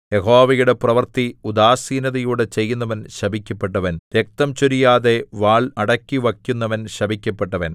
യഹോവയുടെ പ്രവൃത്തി ഉദാസീനതയോടെ ചെയ്യുന്നവൻ ശപിക്കപ്പെട്ടവൻ രക്തം ചൊരിയാതെ വാൾ അടക്കിവക്കുന്നവൻ ശപിക്കപ്പെട്ടവൻ